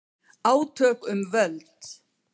Átök um völd